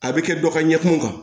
A bɛ kɛ dɔ ka ɲɛkun kan